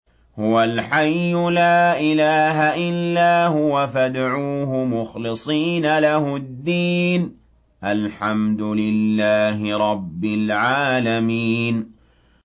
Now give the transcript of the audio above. هُوَ الْحَيُّ لَا إِلَٰهَ إِلَّا هُوَ فَادْعُوهُ مُخْلِصِينَ لَهُ الدِّينَ ۗ الْحَمْدُ لِلَّهِ رَبِّ الْعَالَمِينَ